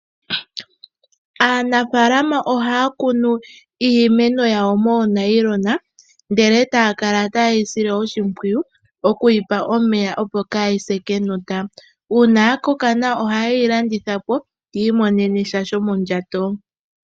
Aanafaalama ohaya kunu iimeno yawo moonayilona ndele taya kala ta yeyi sile oshimpwiyu oku yipa omeya opo kaayi se kenota. Uuna ya koka nawa oha yeyi landitha po yi imonene sha shomondjato.